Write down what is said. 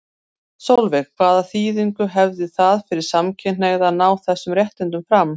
Sólveig: Hvaða þýðingu hefði það fyrir samkynhneigða að ná þessum réttindum fram?